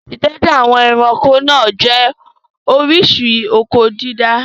Ìtọ́jú àwọn ẹranko náà jẹ́ oríṣi oko-dídá.